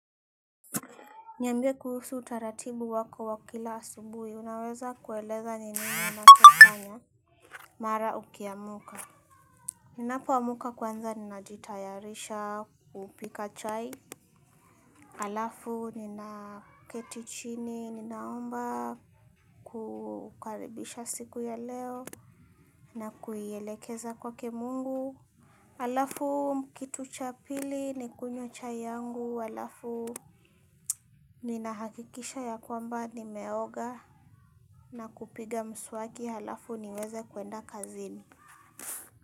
Niambie kuhusu utaratibu wako wa kila asubui, unaweza kueleza nini unacho fanya. Mara ukiamuka. Ninapoamuka kwanza, ninajitayarisha kupika chai. Alafu, ninaketichini, ninaomba kukaribisha siku ya leo, na kuielekeza kwake mungu. Alafu, kitu cha pili, nikunywa chai yangu. Alafu, ninahakikisha ya kwamba, nimeoga. Na kupiga mswaki halafu niweze kuenda kazini.